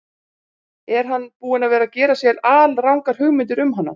Er hann búinn að vera að gera sér alrangar hugmyndir um hana?